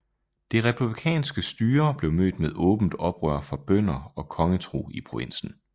Det republikanske styre blev mødt med åbent oprør fra bønder og kongetro i provinsen